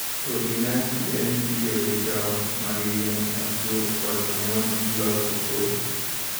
Polinasi en tiyo gi tong' mag yien machwo koda mamon e loso kodhi.